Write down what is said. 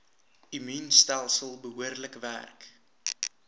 immuunstelsel behoorlik werk